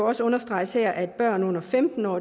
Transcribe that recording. også understreges her at børn under femten år